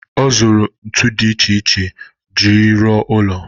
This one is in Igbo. Ọ zụrụ ntu dị iche iche iji ruo ụlọ.